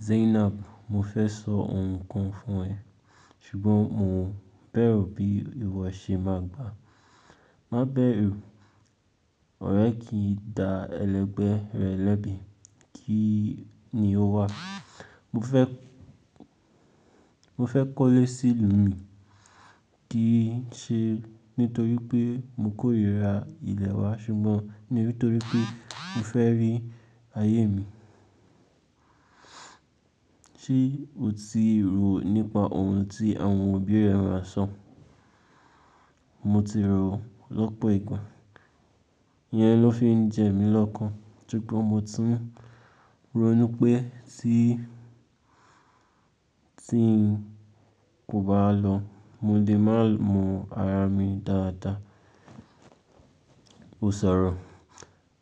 Zainab, mo fẹ́ sọ ohun kan fún ẹ, ṣùgbọ́n mo bẹ̀rù bí ìwo à ṣe máa gbà. Má bẹ̀rù, ọ̀rẹ́ kì í da ẹlẹgbẹ́ rẹ̀ lẹ́bi, kí ni ó wà? Mo fẹ́, mo fẹ́ kọ́lé sí'lù mí, kì í ṣe nítorí pé mo kórìíra ilẹ̀ wa ṣùgbọ́n nítorí pé mo fẹ́ rí ayé mi. Ṣé o ti rò nípa ohun tí àwọn òbí rẹ maà sọ? Mo ti rò lọ̀pọ̀ ìgbà, iyẹn ló fi ń jẹ mí lọ́kàn. Ṣùgbọ́n mo tún rò nu pé tí, tí n kò bá lọ, mo lè má mọ ara mi dáadáa. O sọ̀rọ̀,